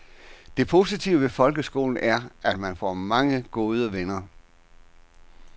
Det positive ved folkeskolen er at man får mange gode venner.